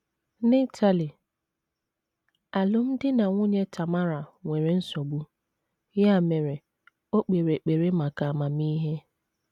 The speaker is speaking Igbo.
N’Itali, alụmdi na nwunye Tamara nwere nsogbu, ya mere, o kpere ekpere maka amamihe.